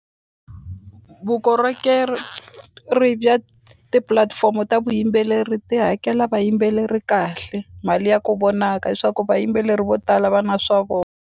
Vukorhokeri ri bya tipulatifomo ta vuyimbeleri ti hakela vayimbeleri kahle mali ya ku vonaka leswaku vayimbeleri vo tala va na swa .